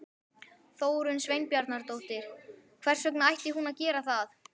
Þórunn Sveinbjarnardóttir: Hvers vegna ætti hún að gera það?